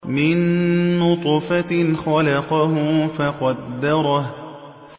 مِن نُّطْفَةٍ خَلَقَهُ فَقَدَّرَهُ